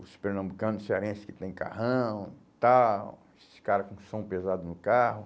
Os pernambucano cearense que têm carrão e tal, esses cara com som pesado no carro.